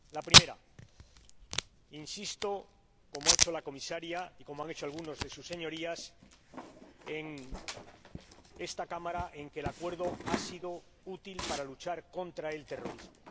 En primer lugar, insisto ─como ha hecho la Comisaria y como han hecho algunas de sus Señorías en esta Cámara─ en que el Acuerdo ha sido útil para luchar contra el terrorismo.